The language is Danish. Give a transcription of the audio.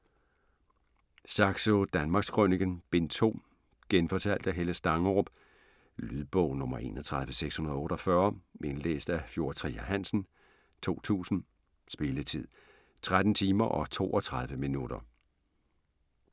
Saxo: Danmarkskrøniken: Bind 2 Genfortalt af Helle Stangerup. Lydbog 31648 Indlæst af Fjord Trier Hansen, 2000. Spilletid: 13 timer, 32 minutter.